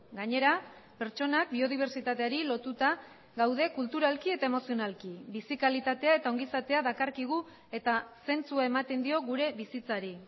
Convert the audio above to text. gainera pertsonak biodibertsitateari lotuta gaude kulturalki eta emozionalki bizi kalitatea eta ongizatea dakarkigu eta zentzua ematen dio gure bizitzari